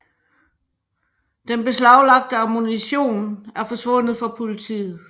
Den beslaglagte ammunition er forsvundet for politiet